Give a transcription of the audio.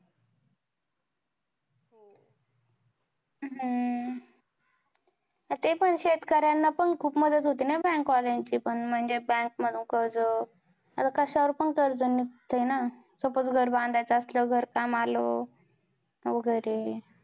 हम्म ते पण शेतकऱ्यांना पण खूप मदत होते ना bank वाल्यांची पण. म्हणजे bank मधून कर्ज आता कशावर पण कर्ज निघतंय ना. suppose घर बांधायचं असल्यावर, घरकाम आलं वगैरे.